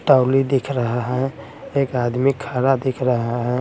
Trolley दिख रहा है एक आदमी खरा दिख रहा है।